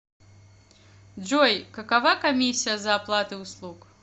джой какова комиссия за оплаты услуг